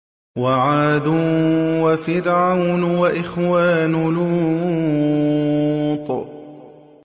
وَعَادٌ وَفِرْعَوْنُ وَإِخْوَانُ لُوطٍ